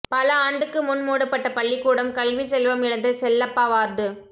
பல ஆண்டுக்கு முன் மூடப்பட்ட பள்ளிக்கூடம் கல்வி செல்வம் இழந்த செல்லப்பா வார்டு